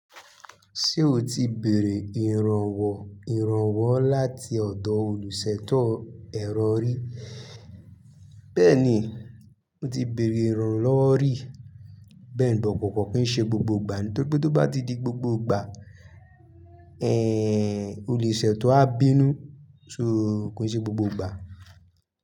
Ṣé o ti bèrè ìrànwọ̀ ìrànwọ́ láti ọ̀dọ̀ olùṣètò ẹ̀rọ rì? Bẹ́ẹ̀ni, mo ti bèrè ìrànlọ́wọ́ rì. Bẹ́ẹ̀ni, but kọ̀ọ̀kan kì í ṣe gbogbo ìgbà. Nítorí pé tó bá di gbogbo ìgbà, ẹ̀, olùṣètò á bínú. So kò i ṣe gbogbo ìgbà.